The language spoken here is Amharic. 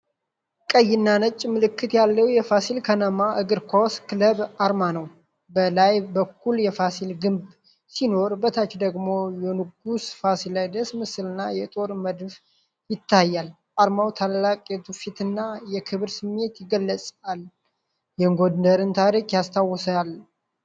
ቀይና ነጭ ምልክት ያለው የፋሲል ከነማ እግር ኳስ ክለብ አርማ ነው። በላይ በኩል የፋሲል ግንብ ሲኖር፤ በታች ደግሞ የንጉሥ ፋሲለደስ ምስልና የጦር መድፍ ይታያል። አርማው ታላቅ የትውፊትና የክብር ስሜትን ይገልጻል፤ የጎንደርን ታሪክ ያስታውሳል።